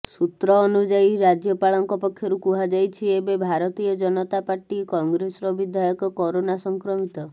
ସୂତ୍ର ଅନୁଯାୟୀ ରାଜ୍ୟପାଳଙ୍କ ପକ୍ଷରୁ କୁହାଯାଇଛି ଏବେ ଭାରତୀୟ ଜନତା ପାର୍ଟି କଂଗ୍ରେସର ବିଧାୟକ କରୋନା ସଂକ୍ରମିତ